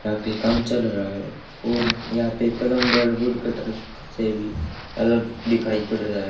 यहां पे काम चल रहा है और यहां पे प्लंबर वुड कटर से भी अलग दिखाई पड़ रहा--